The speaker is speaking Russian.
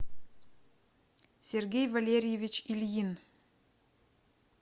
сергей валерьевич ильин